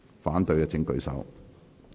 反對的請舉手。